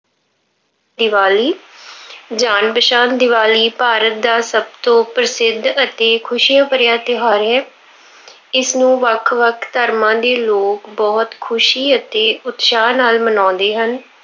ਦੀਵਾਲੀ- ਜਾਣ ਪਛਾਣ- ਦੀਵਾਲੀ ਭਾਰਤ ਦਾ ਸਭ ਤੋਂ ਪ੍ਰਸਿੱਧ ਅਤੇ ਖੁਸ਼ੀਆਂ ਭਰਿਆ ਤਿਉਹਾਰ ਹੈ। ਇਸਨੂੰ ਵੱਖ ਵੱਖ ਧਰਮਾਂ ਦੇ ਲੋਕ ਬਹੁਤ ਖੁਸ਼ੀ ਅਤੇ ਉਤਸ਼ਾਹ ਨਾਲ ਮਨਾਉਂਦੇ ਹਨ।